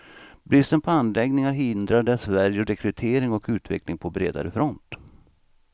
Bristen på anläggningar hindrar dessvärre rekrytering och utveckling på bredare front.